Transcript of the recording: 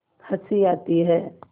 हँसी आती है